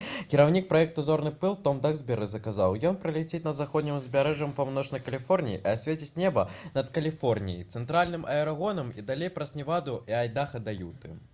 кіраўнік праекта «зорны пыл» том даксберы сказаў: «ён праляціць над заходнім узбярэжжам паўночнай каліфорніі і асвеціць неба над каліфорніяй цэнтральным арэгонам і далей праз неваду і айдаха да юты»